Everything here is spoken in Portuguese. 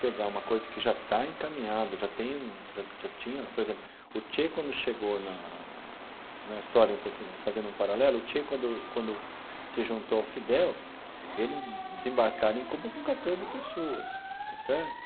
pegar uma coisa que já está encaminhada, já tem um já já tinha, por exemplo, o Che quando chegou na na história um pouquinho, fazendo um paralelo, o Che quando quando se juntou ao Fidel, eles desembarcaram em Cuba com quatorze pessoas, está certo?